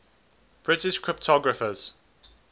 british cryptographers